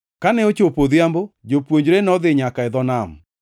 Kane ochopo odhiambo, jopuonjre nodhi nyaka e dho nam,